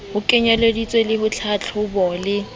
ho kenyeleditswe le tlhatlhobo le